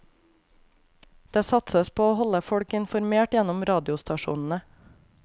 Det satses på å holde folk informert gjennom radiostasjonene.